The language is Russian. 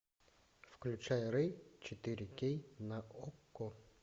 включай рэй четыре кей на окко